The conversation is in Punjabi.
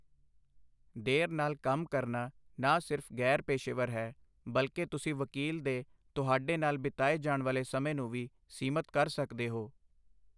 ਦੇਰ ਨਾਲ ਕੰਮ ਕਰਨਾ ਨਾ ਸਿਰਫ਼ ਗ਼ੈਰ ਪੇਸ਼ੇਵਰ ਹੈ, ਬਲਕਿ ਤੁਸੀਂ ਵਕੀਲ ਦੇ ਤੁਹਾਡੇ ਨਾਲ ਬਿਤਾਏ ਜਾਣ ਵਾਲੇ ਸਮੇਂ ਨੂੰ ਵੀ ਸੀਮਤ ਕਰ ਸਕਦੇ ਹੋ।